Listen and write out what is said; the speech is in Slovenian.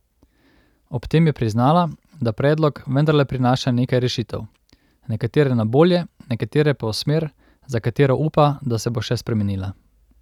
Ob tem je priznala, da predlog vendarle prinaša nekaj rešitev, nekatere na bolje, nekatere pa v smer, za katero upa, da se bo še spremenila.